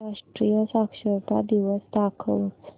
आंतरराष्ट्रीय साक्षरता दिवस दाखवच